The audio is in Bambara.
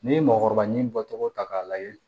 N'i ye mɔgɔkɔrɔba ɲin bɔcogo ta k'a lajɛ